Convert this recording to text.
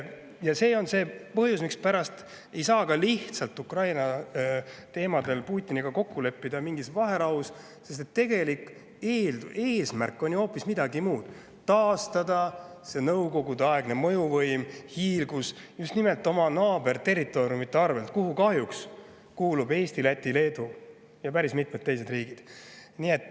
Ja see on see põhjus, mispärast ei saa Putiniga Ukraina puhul kokku leppida lihtsalt mingis vaherahus, sest tegelik eesmärk on ju hoopis midagi muud: taastada Nõukogude-aegne mõjuvõim ja hiilgus just nimelt oma naaberterritooriumide arvelt, kuhu kahjuks kuuluvad Eesti, Läti, Leedu ja päris mitmed teised riigid.